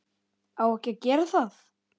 Á ekki að gera það.